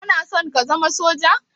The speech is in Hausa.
Kanason ka zama soja?